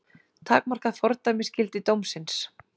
Takmarkað fordæmisgildi dómsins